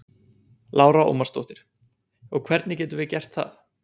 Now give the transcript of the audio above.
Lára Ómarsdóttir: Og hvernig getum við gert það?